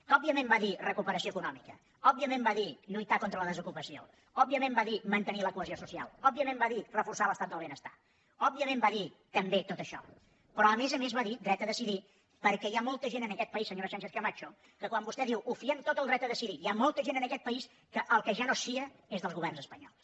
que òbviament va dir recuperació econòmica òbviament va dir lluitar contra la desocupació òbviament va dir mantenir la cohesió social òbviament va dir reforçar l’estat del benestar òbviament va dir també tot això però a més a més va dir dret a decidir perquè hi ha molta gent en aquest país senyora sánchez camacho que quan vostè diu ho fiem tot al dret a decidir hi ha molta gent en aquest país que del que ja no es fia és dels governs espanyols